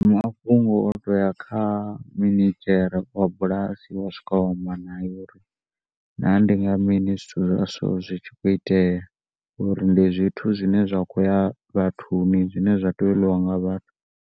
Mafhungo o tea kha minidzhere wa bulasi wa swika wa amba naye uri naa ndi nga mini zwithu zwa so zwi tshi khou itea uri ndi zwithu zwine zwa khou ya vhathuni zwine zwa tea u ḽiwa nga vhathu.